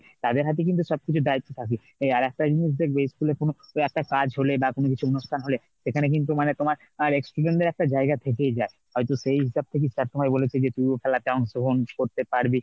তাদের হাতে কিন্তু সবকিছু দায়িত্ব থাকে। এই আর একটা জিনিস দেখবে school এর কোন একটা কাজ হলে বা কোন কিছু অনুষ্ঠান হলে সেখানে কিন্তু মানে তোমার ex student দের একটা জায়গা থেকেই যায়। হয়তো সেই হিসাব থেকেই sir তোমাই বলেছে যে তুই খেলাতে অংশগ্রহণ করতে পারবি।